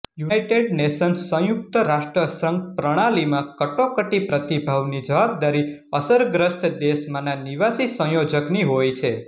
United Nations સંયુક્ત રાષ્ટ્રસંઘ પ્રણાલીમાં કટોકટી પ્રતિભાવની જવાબદારી અસરગ્રસ્ત દેશમાંના નિવાસી સંયોજકની હોય છે